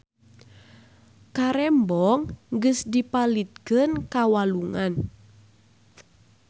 Karembong geus dipalidkeun ka walungan